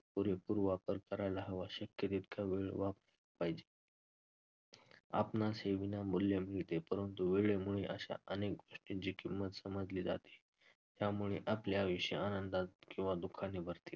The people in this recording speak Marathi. पुरेपूर वापर करायला हवा, शक्य तितका वेळ वाप~ पाहिजे. आपणास हे विनामूल्य भेट आहे परंतु वेळेमुळे अशा अनेक गोष्टींची किंमत समजली जाते. त्यामुळे आपले आयुष्य आनंदात किंवा दुःखाने भरते.